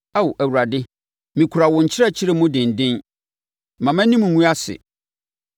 Ao Awurade, mekura wo nkyerɛkyerɛ mu denden mma mʼanim ngu ase.